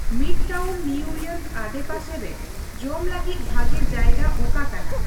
Midtown New York ᱟᱰᱮᱯᱟᱥᱮ ᱨᱮ ᱡᱚᱢ ᱞᱟᱹᱜᱤᱫ ᱵᱷᱟᱜᱮ ᱡᱟᱭᱜᱟ ᱚᱠᱟ ᱠᱟᱱᱟ ?